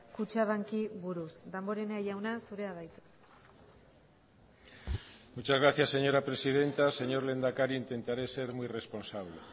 kutxabanki buruz damborenea jauna zurea da hitza muchas gracias señora presidenta señor lehendakari intentaré ser muy responsable